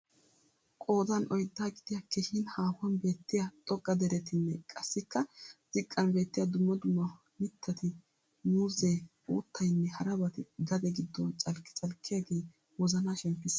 Qoodan oydda gidiya keehiin haahuwan beettiyaa xoqqa derettinne qassikka ziqqan beettiya dumma duumma mittati muuzee, uuttaynne harabaati gade gidon calkki calkkiyaagee wozanaa shemppissees.